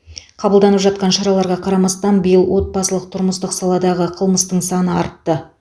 қабылданып жатқан шараларға қарамастан биыл отбасылық тұрмыстық саладағы қылмыстың саны артты